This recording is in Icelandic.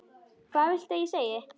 Hvað viltu ég segi?